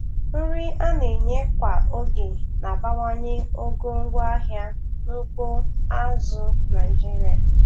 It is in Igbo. Nri a na-enye kwa oge na-abawanye ogo ngwaahịa n'ugbo azụ̀ Naịjiria.